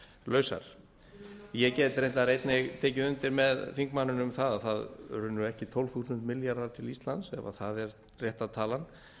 lausar ég get reyndar einnig tekið undir með þingmanninum um að það runnu ekki tólf þúsund milljarðar til íslands ef það er rétta talan